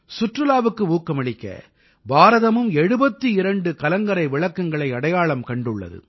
சுற்றுலாவுக்கு ஊக்கமளிக்க பாரதமும் 72 கலங்கரை விளக்கங்களை அடையாளம் கண்டுள்ளது